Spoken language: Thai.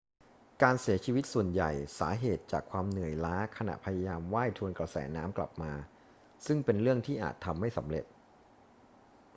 การเสียชีวิตส่วนใหญ่ม่สาเหตุจากความเหนื่อยล้าขณะพยายามว่ายทวนกระแสน้ำกลับมา ซึ่งเป็นเรื่องที่อาจทำไม่สำเร็จ